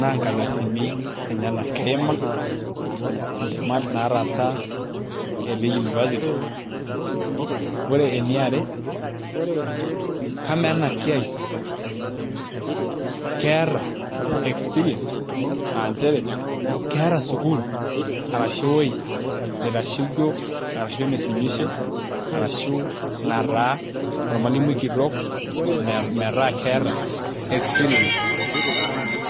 naa nkardasini enyenak keima entemata etii university ore eniare kamaa ena siai keeta experience aa nchere keeta sukuul arashu ewuei naitashoikio arashu naisumishe arashu nataa ormalimui kitok metaa keeta experience.